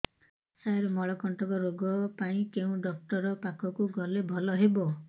ସାର ମଳକଣ୍ଟକ ରୋଗ ପାଇଁ କେଉଁ ଡକ୍ଟର ପାଖକୁ ଗଲେ ଭଲ ହେବ